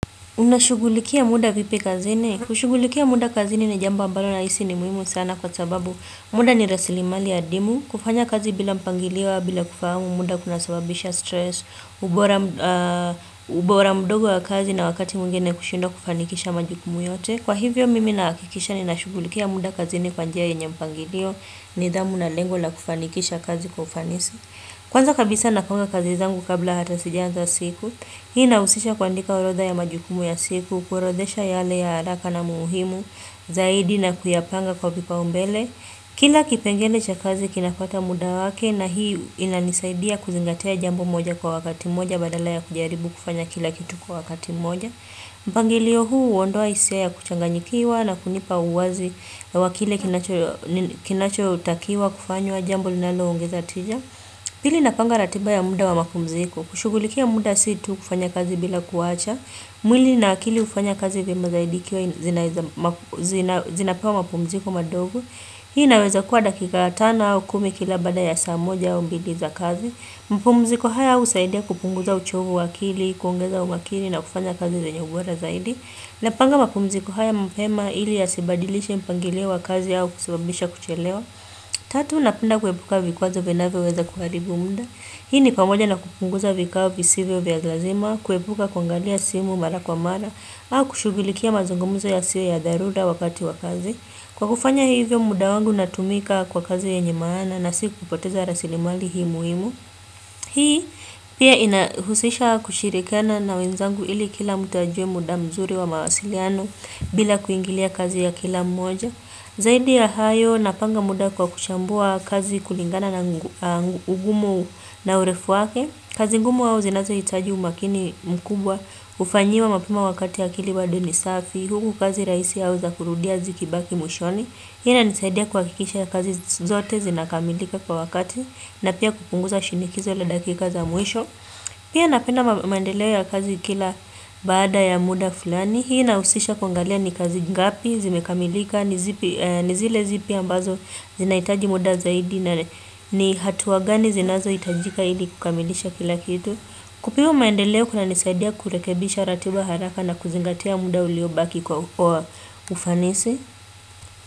Unashughulikia muda vipi kazini? Kushughulikia muda kazini ni jambo ambalo nahisi ni muhimu sana kwa sababu muda ni rasilimali adimu. Kufanya kazi bila mpangilio au, bila kufahsmu, muda kunasababisha stress, ubora mdogo wa kazi na wakati mwingine kushindwa kufanikisha majukumu yote. Kwa hivyo mimi nahakikisha ninashugulikia muda kazini kwa njia yenye mpangilio, nidhamu na lengo la kufanikisha kazi kwa ufanisi. Kwanza kabisa napanga kazi zangu kabla hata sijaanza siku. Hii inausisha kuandika orodha ya majukumu ya siku, kuorodesha yale ya haraka na muhimu, zaidi na kuyapanga kwa vipaumbele. Kila kipengele cha kazi kinafata muda wake na hii inanisaidia kuzingatia jambo moja kwa wakati mmoja badala ya kujaribu kufanya kila kitu kwa wakati moja. Mpangilio huu huondoa hisia ya kuchanganyikiwa na kunipa uwazi wa kile kinachotakiwa kufanywa jambo linaloongeza tija. Pili napanga ratiba ya muda wa mapumziko. Kushugulikia muda si tu kufanya kazi bila kuwacha. Mwili na akili hufanya kazi vyema zaidi ikiwa zinapewa mapumziko madogo. Hii inaweza kuwa dakika tano au kumi kila baada ya saa moja au mbili za kazi. Mapumziko haya husaidia kupunguza uchovu wa akili kuongeza umakini na kufanya kazi zenye ubora zaidi. Napanga mapumziko haya mapema ili yasibadilishe mpangilio wa kazi au kusababisha kuchelewa. Tatu, napenda kuepuka vikwazo vinavyoweza kuharibu muda. Hii ni pamoja na kupunguza vikao visivyo vya lazima, kuepuka kuangalia simu mara kwa mara au kushughulikia mazungumza yasiyo ya dharura wakati wa kazi. Kwa kufanya hivyo muda wangu unatumika kwa kazi yenye maana na si kupoteza rasilimali hii muhimu. Hii pia inahusisha kushirikana na wenzangu ili kila mtu ajue muda mzuri wa mawasiliano bila kuingilia kazi ya kila mmoja. Zaidi ya hayo napanga muda kwa kuchambua kazi kulingana na ugumu na urefu wake. Kazi ngumu au zinazohitaji umakini mkubwa hufanyiwa mapema wakati akili bado ni safi. Huku kazi rahisi au za kurudia zikibaki mwishoni. Hii inanisaidia kuhakikisha kazi zote zinakamilika kwa wakati na pia kupunguza shinikizo la dakika za mwisho pia napenda maendeleo ya kazi kila baada ya muda fulani hii inahusisha kuangalia ni kazi ngapi zimekamilika ni zile zipi ambazo zinahitaji muda zaidi na ni hatua gani zinazohitajika ili kukamilisha kila kitu kupewa maendeleo kunanisaidia kurekebisha ratiba haraka na kuzingatia muda uliobaki kwa ufanisi kwa hivyo.